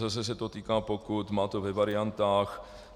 Zase se to týká pokut, má to ve variantách.